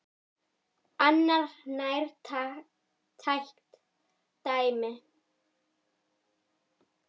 Annað nærtækt dæmi.